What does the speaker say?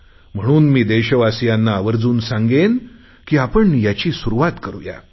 म्हणून मी देशवासियांना आवर्जुन सांगेन की आपण याची सुरुवात करुया